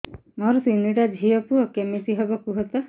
ମୋର ତିନିଟା ଝିଅ ପୁଅ କେମିତି ହବ କୁହତ